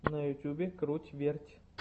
на ютьюбе круть верть